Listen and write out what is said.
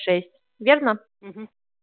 шесть верно